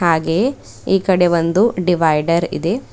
ಹಾಗೆಯೇ ಈ ಕಡೆ ಒಂದು ಡಿವೈಡರ್ ಇದೆ.